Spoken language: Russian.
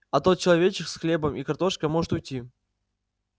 а тот человечек с хлебом и картошкой может уйти